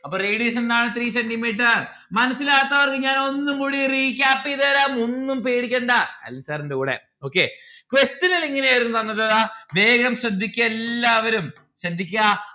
അപ്പൊ radius എന്താണ്? three centi metre മനസ്സിലാവാത്തവർക്ക് ഞാൻ ഒന്നും കൂടി recap എയ്‌തരാം ഒന്നും പേടിക്കേണ്ട അരുൺ sir ഇണ്ട് കൂടെ okay. question ഇല് എങ്ങനെയാണ് തന്നത്? ഇതാ വേഗം ശ്രദ്ധിക്ക എല്ല്ലാവരും ശ്രദ്ധിക്ക